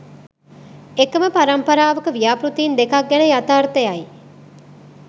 එකම පරම්පරාවක ව්‍යාපෘතීන් දෙකක් ගැන යථාර්ථයයි.